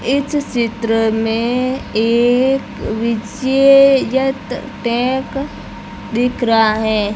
इस चित्र में एक विशेयत टैक दिख रहा है।